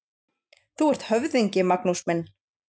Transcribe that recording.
Þú ert höfðingi, Magnús minn!